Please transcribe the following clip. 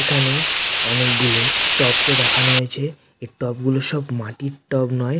এখানে অনেক গুলো টব কে দেখানো হয়েছে। এই টব গুলো সব মাটির টব নয়।